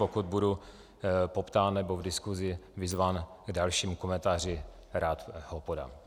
Pokud budu poptán nebo v diskusi vyzván k dalšímu komentáři, rád ho podám.